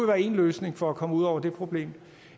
være en løsning for at komme ud over det problem